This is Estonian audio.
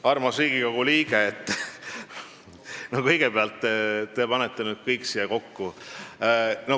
Armas Riigikogu liige, kõigepealt, te panete nüüd kõik siia kokku.